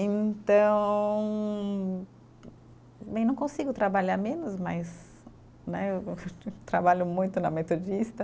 Então, bem, não consigo trabalhar menos, mas né trabalho muito na Metodista.